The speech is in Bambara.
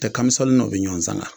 U tɛ kamisɔni nɔ bɛ ɲɔgɔn sanga